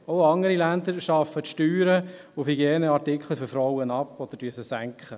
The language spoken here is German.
Auch andere Länder schaffen die Steuern auf Hygieneartikeln für Frauen ab oder senken sie.